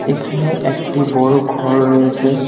এখানে একটি বড়ো ঘর রয়েছে।